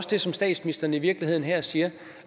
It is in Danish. det som statsministeren i virkeligheden her siger